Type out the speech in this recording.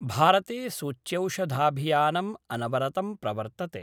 भारते सूच्यौषधाभियानम् अनवरतं प्रवर्तते।